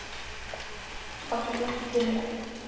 Kom sér fljótt upp vinnureglum.